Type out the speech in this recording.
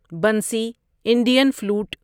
بنسی Indian flute বাঁশি